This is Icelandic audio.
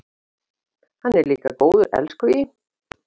Hann er líka góður elskhugi.